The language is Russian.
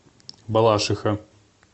балашиха